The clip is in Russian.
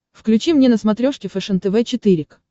включи мне на смотрешке фэшен тв четыре к